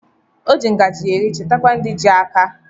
Oji ngaji eri cheta ndị ji aka.